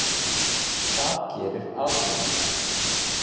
Það gerir Alþingi.